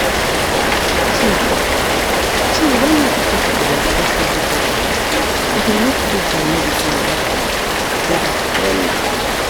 true-true when everybody dey respect everybody e dey make faith and medicine work together wella.